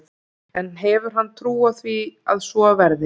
En hefur hann trú á því að svo verði?